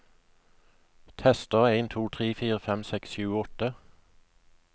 Tester en to tre fire fem seks sju åtte